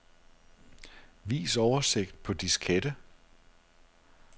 Vis oversigt på diskette.